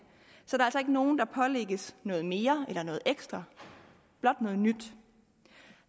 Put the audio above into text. så der er altså ikke nogen der pålægges noget mere eller noget ekstra blot noget nyt